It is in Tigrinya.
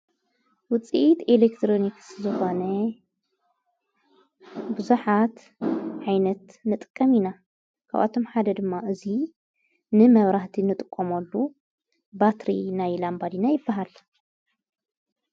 ውፂኢት ኤሌክትሮኒክስ ዝኾነ ብዙኃት ኃይነት ንጥቀም ኢና ከባቶም ሓደ ድማ እዙይ ንመብራህቲ ንጥቆሞሉ ባትሪ ናይ ላንባዲና ይበሃል።